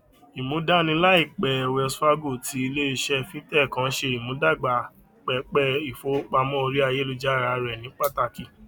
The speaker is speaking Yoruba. ìmúdání laipẹ wells fargo ti iléiṣẹ fintech kan ṣe ìmúdàgba pẹpẹ ìfowópamọ orí ayélujára rẹ ní pàtàkì